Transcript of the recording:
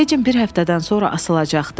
Feccin bir həftədən sonra asılacaqdı.